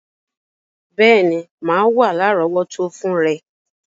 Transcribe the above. Béèní, má wa lárọ̀wọ́tó fun rẹ